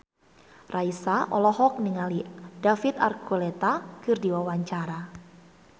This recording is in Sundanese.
Raisa olohok ningali David Archuletta keur diwawancara